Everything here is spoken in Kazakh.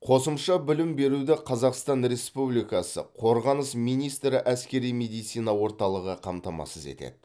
қосымша білім беруді қазақстан республикасы қорғаныс министрі әскери медицина орталығы қамтамасыз етеді